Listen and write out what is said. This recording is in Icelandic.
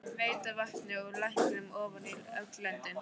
Veita vatni úr læknum ofan í öll löndin.